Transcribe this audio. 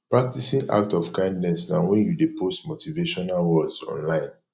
practing act of kindness na when you de post motivational words online